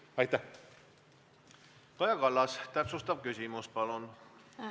Kaja Kallas, täpsustav küsimus, palun!